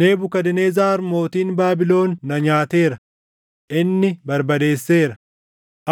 “Nebukadnezar mootiin Baabilon na nyaateera; inni barbadeesseera;